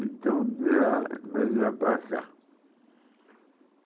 Então, de lá, para cá.